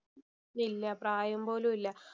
ഇല്ല. പ്രായം പോലും ഇല്ല.